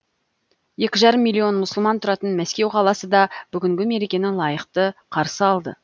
екі жарым миллион мұсылман тұратын мәскеу қаласы да бүгінгі мерекені лайықты қарсы алды